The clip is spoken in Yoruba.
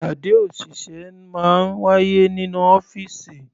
Ìpàdé òṣìṣẹ́ máa ń wáyé nínú ọ́fìsì.